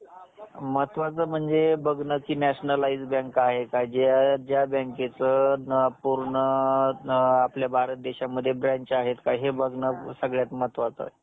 महत्वाचं म्हणजे बघणं की nationalism bank आहे का जे ज्या बॅंकेचं पूर्ण अ आपल्या भारत देशामध्ये branch आहेत हे बघणं सर्वात महत्वाचं आहे.